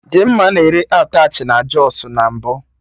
Dimma na-ere attachị na Jọsụ na mbụ